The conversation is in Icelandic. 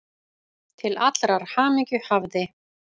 Til allrar hamingju hafði